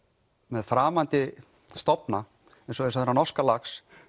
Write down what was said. með framandi stofna eins og þennan norska lax